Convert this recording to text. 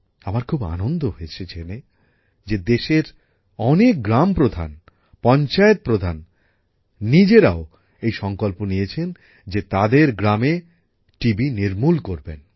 আমার খুব আনন্দ হয়েছে জেনে যে দেশের অনেক গ্রাম প্রধান পঞ্চায়েত প্রধান নিজেরাও এই সংকল্প নিয়েছেন যে তাদের গ্রামে টিবি নির্মূল করবেন